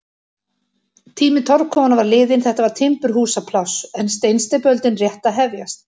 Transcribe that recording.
Tími torfkofanna var liðinn, þetta var timburhúsapláss en steinsteypuöldin rétt að hefjast.